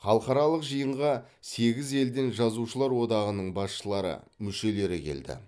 халықаралық жиынға сегіз елден жазушылар одағының басшылары мүшелері келді